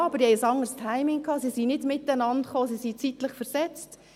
Ja, aber sie hatten ein anderes Timing und kamen nicht miteinander, sie sind zeitlich versetzt.